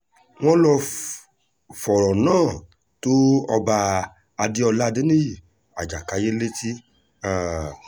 wọ́n lọ́ọ́ fọ̀rọ̀ náà tó ọba adéọlá adéníyí ajàkáyé létí um